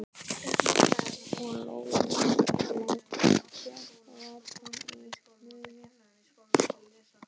Og Lóa-Lóa fékk vatn í munninn.